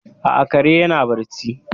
A'a, kare yana barci.